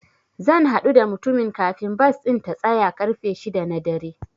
Zan haɗu da mutumin kafin bas ɗin ta tsaya ƙarfe shida na dare.